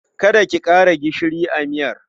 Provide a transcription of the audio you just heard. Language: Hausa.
Kada ki ƙara gishiri a miyar.